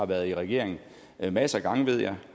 været i regering masser af gange ved jeg